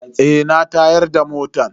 Eh na tayar da motan.